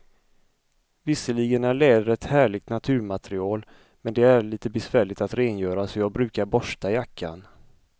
Visserligen är läder ett härligt naturmaterial, men det är lite besvärligt att rengöra, så jag brukar borsta jackan.